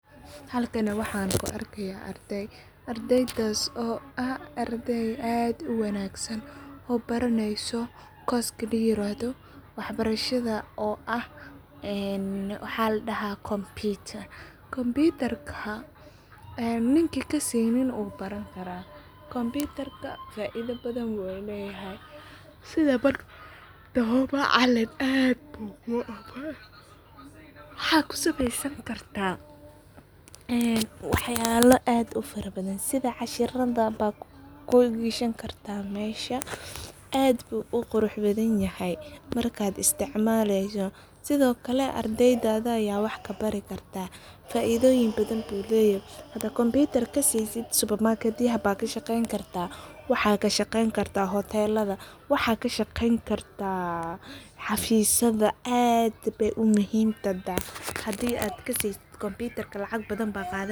Halkani waxaan ku aegayo ardayo ardaydaas oo ah arday oo ad oo wagsan oo barasaysoh. goals layiradoh. waax barahada. oo ah ahan waaxa ladahda. computer computer kaa aa ninki gasaynin. ubaranigara. computer computer ka faidoo badan. uu layaway. sida martaho macalin aad buu waxaa ku samaysani kartah. waxyalo aad ufaradabdan. sidaa. cashiradada. baa ku gashani gartah masha aad buu uqueuxbdan yahay. marka isticmaliso. sidaa ookle ardiyda. ardiydada aya waxaa. kaa barigaetah. faidoyin. badan ayu layhay. hadii computer gasaynin. supermarket. yaha aad kaa shaqaynikartah. waxaa kaa shqaynikartah. hotelada. waxaa kaa shaqayni gartah. xafisyadaa. aad bay muhiim. hadii aad gasisid. computer lacag baadan baad qadani gartah